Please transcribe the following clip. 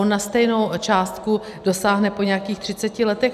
On na stejnou částku dosáhne po nějakých 30 letech.